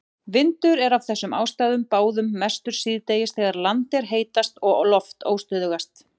Vindur er af þessum ástæðum báðum mestur síðdegis þegar land er heitast og loft óstöðugast.